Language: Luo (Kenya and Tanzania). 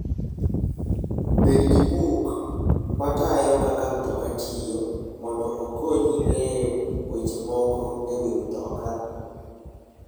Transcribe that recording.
Bed gi buk ma tayo kaka mtoka tiyo mondo okonyi ng'eyo weche moko e wi mtoka.